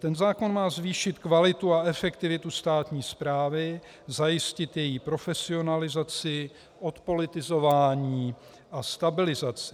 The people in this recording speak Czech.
Ten zákon má zvýšit kvalitu a efektivitu státní správy, zajistit její profesionalizaci, odpolitizování a stabilizaci.